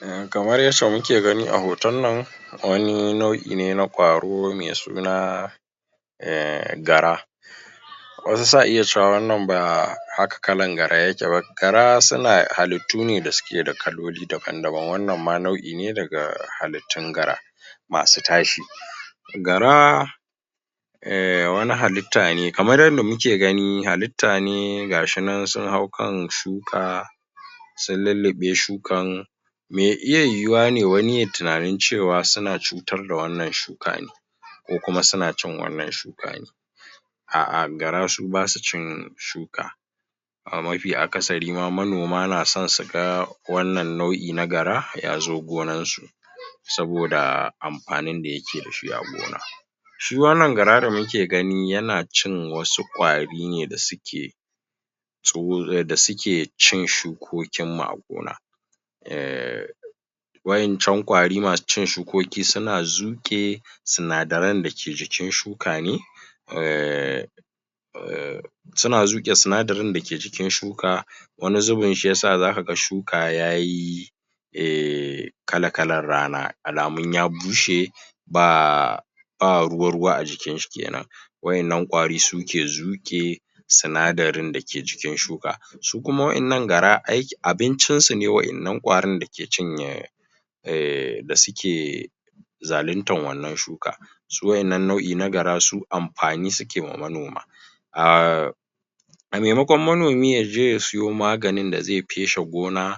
hm kamar yacce muke gani a hoton nan wani nau'i ne na kwaro mai suna ehm gara wasu sa'iya cewa ba haka kalan gara yake ba gara suna hallitu da suke da kaloli daban daban wannan ma nau'i ne daga hallitun gara masu tashi gara ehm wani hallita ne kamar yadda gani hallita ne gashi nan sun hau kan shuka sun lullube shukan mai iya yuwuwa ne wani yayi tinanin cewa suna cutar da wannan shuka ne ko kuma suna cin wannan shuka ne a a gara su basu cin shuka a mafi akasari manoma na son su ga wannan nau'i na gara ya zo gonan su saboda amfanin da ya ke dashi a gona shi wannan gara da duke gani yana cin wasu ƙwari da suke da suke cin shukokin mu a gona ehhh wa'incan ƙwari masu cin shukoki suna zuƙe sinadarain da ke jikin shuka ne ehh um suna zuƙe sinadari da ke cikin shuka wani zubin shiyasa zaka ga shuka yayi ehh kala kalan rana alamu ya bushe baa ba ruwa-ruwa ajikin shi kenan wa'innan ƙwari suke zuke sinadarin da ke jikin shuka su kuma wa'innan gara abincin sune wa'innan ƙwarin da ke cinye ehhm da suke zalintar wannan shuka su wannan nau'i na gara amfani suke wa manoma ah a maimakon manomi yaje ya sayo maganin da feshe gona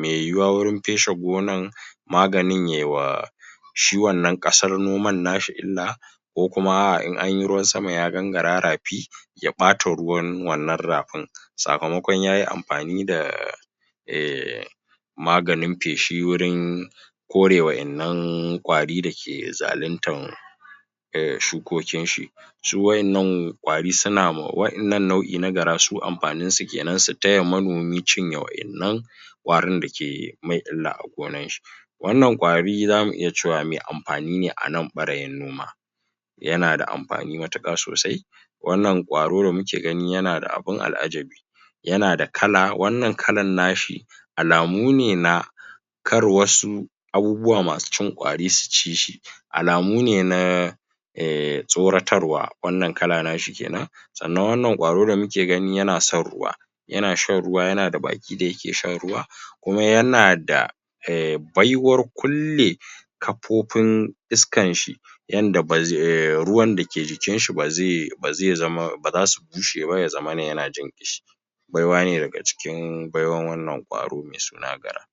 mai yiwuwa wajen feshe gonan maganin yiwa shi wannnan kasar noman nashi illa ko kuma in anyi ruwan sama ya gan gara rafi ya bata ruwan wannnan rafin sakamakon yayi amfani da ehm maganin feshi wurin kore wa'innan ƙwari dake zalitan shukokin shi su wa'innan kwari suna wa'inan nau'i na gara su amfanin su kenan su taya manoma cinye wa'innan ƙwarin da ke masa illa a gonan shi wa'innan ƙwari zamu iya cewa mai amfani ne anan ɓarayin noma yana da amfani matuka sosai wannan ƙwaro da muke gani yana da abu al'ajabi yana da kala wannan kalan nashi alamune na kar wasu abubuwa masu cin ƙwari su cishi alamune na eh tsoratarwa wannan kala nashi kenan sannan wannnan ƙwaro da muka ganshi yana son ruwa yana shan ruwa yana da baki da yake shan ruwa kuma yanada baiwar kulle kafofin iskan shi yanda ba zai ruwan da ke jikin shi ba zai zama baza su bushe ba yaza mana yana jin ƙishi baiwa ne daga cikin baiwan wannnan ƙwaro mai suna gara